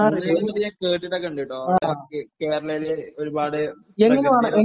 ഞാൻ കേട്ടിട്ടൊക്കെയുണ്ടിട്ടോ. കേരളത്തിൽ ഒരുപാട്